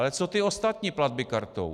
Ale co ty ostatní platby kartou?